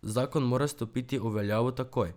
Zakon mora stopiti v veljavo takoj.